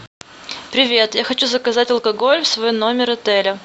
привет я хочу заказать алкоголь в свой номер отеля